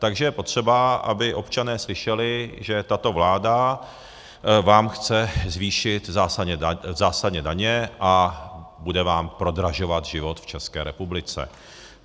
Takže je potřeba, aby občané slyšeli, že tato vláda vám chce zvýšit zásadně daně a bude vám prodražovat život v České republice.